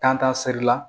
Tantan serila